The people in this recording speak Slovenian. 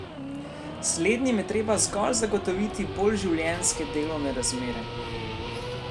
Slednjim je treba zgolj zagotoviti bolj življenjske delovne razmere!